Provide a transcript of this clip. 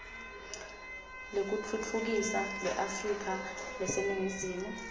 lekutfutfukisa leafrika leseningizimu